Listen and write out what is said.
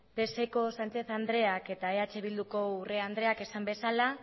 pseko sánchez andreak eta eh bilduko urrea andreak esan bezala